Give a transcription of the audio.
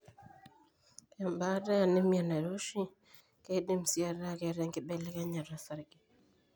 Embaata eanemia nairoshi keidim sii ataa keeta inkibelekenya osarge.